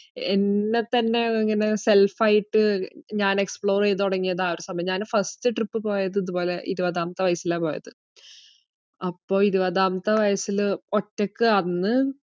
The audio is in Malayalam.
എന്നെത്തന്നെ ഇങ്ങനെ self ആയിട്ട് ഞാൻ explore എയ്തുതുടങ്ങിയത് ആ സമയാ. ഞാൻ first trip പോയത് ഇതുപോലെ ഇരുപതാമത്തെ വയസ്സിലാ പോയത്. അപ്പൊ ഇരുപതാമത്തെ വയസ്സില് ഒറ്റക്ക് അന്ന്.